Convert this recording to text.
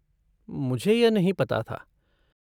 मुझे यह नहीं पता था।